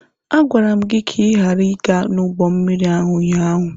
A gwara m gị ka ị ghara ịga n'ụgbọ mmiri ụnyaahụ!